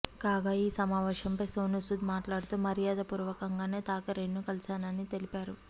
కాగా ఈ సమావేశంపై సోనూసుద్ మాట్లాడుతూ మర్యాదపూర్వకంగానే థాకరేను కలిశానని తెలిపారు